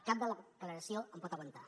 cap declaració en pot aguantar